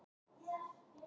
Hann rétti Erni flöskuna.